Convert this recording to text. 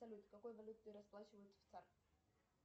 салют какой валютой расплачиваются в